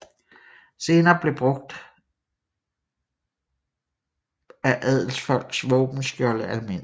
Senere blev brug af adelsfolks våbenskjolde almindelige